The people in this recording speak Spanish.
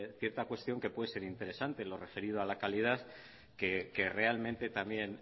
cierta cuestión que puede ser interesante lo referido a la calidad que realmente también